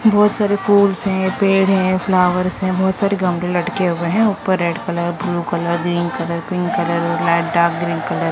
बहुत सारे फूल्स हैं पेड़ हैं फ्लावर्स हैं बहुत सारे गमले लटके हुए हैं ऊपर red colour blue colour green colour pink colour light dark green colour --